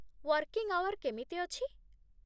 Working hour କେମିତି ଅଛି?